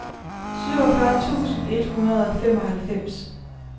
syvogfyrre tusind et hundrede og femoghalvfems